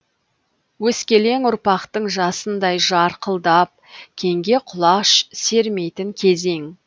өскелең ұрпақтың жасындай жарқылдап кеңге құлаш сермейтін кезең